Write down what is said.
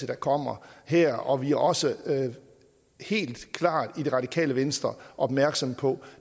der kommer her og vi er også helt klart i det radikale venstre opmærksomme på